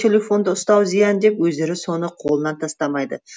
телефонды ұстау зиян деп өздері соны қолынан тастамайды